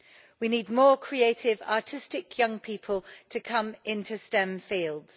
We need more creative, artistic young people to come into STEM fields.